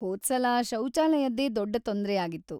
ಹೋದ್ಸಲ ಶೌಚಾಲಯದ್ದೇ ದೊಡ್ಡ ತೊಂದ್ರೆಯಾಗಿತ್ತು.